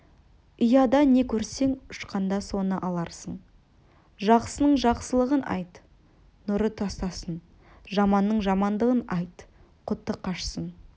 ұяда не көрсең ұшқанда соны аларсың жақсының жақсылығын айт нұры тасысын жаманның жамандығын айт құты қашсын